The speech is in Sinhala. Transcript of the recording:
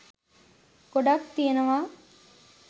ගොඩක් තියනවා.